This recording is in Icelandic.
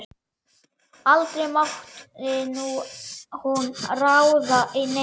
Aldrei mátti hún ráða neinu.